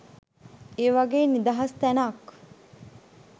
ඒ වගේ නිදහස් තැනක්